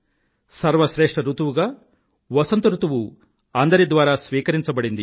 సర్వ శ్రేష్ఠ ఋతువుగా వసంత ఋతువు అందరి ద్వారా స్వీకరింపబడింది